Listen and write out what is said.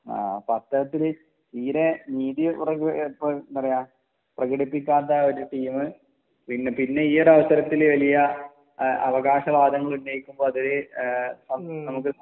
ആ അപ്പൊ അത്തരത്തിൽ ഇപ്പൊ എന്താ പറയാ പ്രകടിപ്പിക്കാത്ത ഒരു ടീം പിന്നെ ഈ ഒരു അവസരത്തിൽ വലിയ അ അവകാശ വാദങ്ങൾ ഉന്നയിക്കുമ്പോ അത് ഏഹ് നമുക്ക്